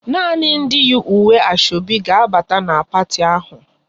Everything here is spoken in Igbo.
Nani ndị yi uwe Asoebi ga abata n' parti ahụ!